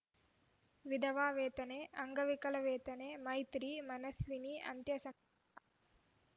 ವಿಧವಾ ವೇತನೆ ಅಂಗವಿಕಲ ವೇತನೆ ಮೈತ್ರಿ ಮನಸ್ವಿನಿ ಅಂತ್ಯ ಸಂ